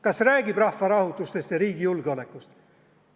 Kas räägib rahvarahutustest ja riigi julgeolekust?